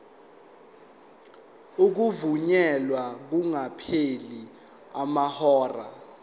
ukuvunyelwa kungakapheli amahora